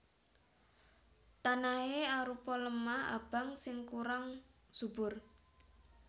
Tanahé arupa lemah abang sing kurang subur